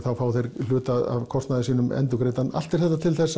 fá þeir hluta af kostnaði sínum endurgreiddan allt er þetta til